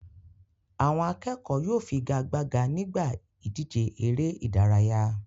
Àwọn akẹ́kọ̀ọ́ yóò figagbága nígbà ìdíje eré-idárayá.